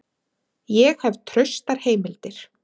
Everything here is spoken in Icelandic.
Ég hef traustar heimildir.